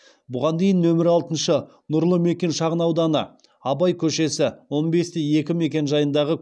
бұған дейін нөмір алтыншы нұрлы мекен шағынауданы абай көшесі он бес те екі мекенжайындағы